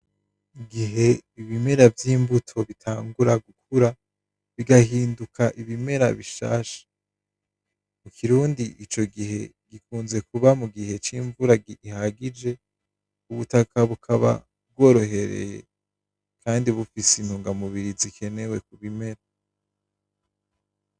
Igihe ibimera vy'imbuto bitangura gukura, bigahinduka ibimera bishasha. Mukirundi ico gihe gikunze kuba mugihe c'imvura gihagije, ubutaka bukaba bworohereye kandi bufise intunga mubiri zikenewe kubimera.